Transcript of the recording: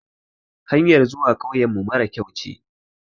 Hanyar zuwa kauyen mu mara kyau ne.